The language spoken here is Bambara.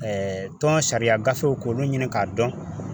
tɔn sariya gafew k'olu ɲini k'a dɔn.